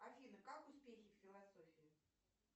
афина как успехи в философии